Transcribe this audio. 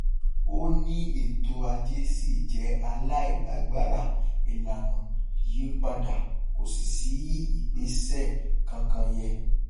ó ní ètò ajé ṣì jẹ aláìlágbára ìlànà yí padà kò sì sí ìgbésẹ kankan yẹ